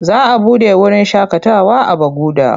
Za a buɗe wurin shakatawa a Baguda.